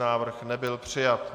Návrh nebyl přijat.